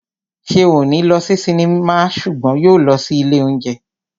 Ṣeun ò ní lọ sí sinimá ṣùgbọ́n yóò lọ sí ilé óúnjẹ